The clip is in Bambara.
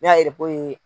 Ne y'a